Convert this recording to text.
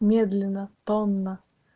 медленно тонна